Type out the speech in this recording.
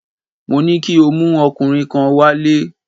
Mo ní kí o mú ọkùnrin kan wálé!